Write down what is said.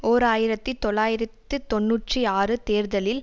ஓர் ஆயிரத்தி தொள்ளாயிரத்து தொன்னூற்றி ஆறு தேர்தலில்